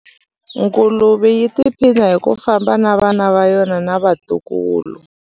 Nguluve yi tiphina hi ku famba na vana va yona na vatukulu.